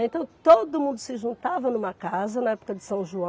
Então todo mundo se juntava numa casa na época de São João.